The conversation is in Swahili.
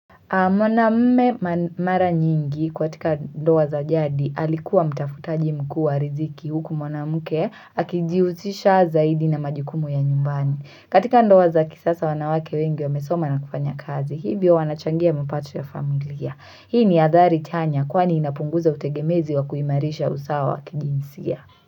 Mwanaume mara nyingi kwa katika ndoa za jadi alikuwa mtafutaji mkua riziki huku mwanamke akijihusisha zaidi na majukumu ya nyumbani. Katika ndoa za kisasa wanawake wengi wamesoma na kufanya kazi hivyo wanachangia mipato ya familia. Hii ni athari tanya kwani inapunguza utegemezi wa kuimarisha usawa wa kijinsia.